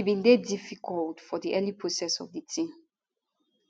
e bin dey difficult for di early process of di tin